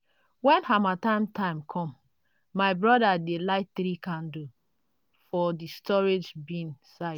when harmattan time come my broda dey light 3 candle for the storage bin side